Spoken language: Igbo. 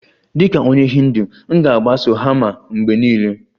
Dịka onye Hindu, m ga-agbaso dharma mgbe niile